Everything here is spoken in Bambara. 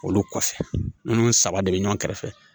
Olu kɔfɛ ninnu saba de bɛ ɲɔgɔn kɛrɛfɛ